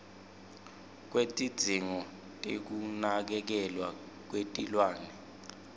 kwetidzingo tekunakekelwa kwetilwane